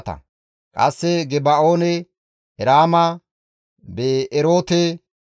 Qasse Geba7oone, Eraama, Bi7eroote,